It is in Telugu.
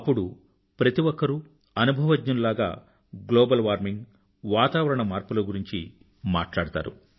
అప్పుడు ప్రతిఒక్కరూ అనుభవజ్ఞులు లాగ గ్లోబల్ వార్మింగ్ వాతావరణ మార్పులను గురించి మాట్లాడతారు